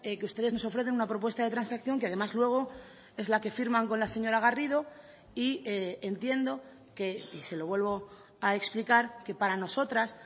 que ustedes nos ofrecen una propuesta de transacción que además luego es la que firman con la señora garrido y entiendo que y se lo vuelvo a explicar que para nosotras